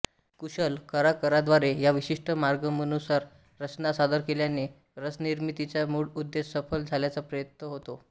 कुशल कलाकराद्वारे या विशिष्ट मार्गमनुसार रचना सादर केल्याने रसनिर्मितीचा मूळ उद्देश सफल झाल्याचा प्रत्यय येतो